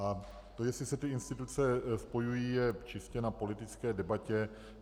A to, jestli se ty instituce spojují, je čistě na politické debatě.